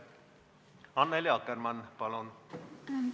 Annely Akkermann, palun!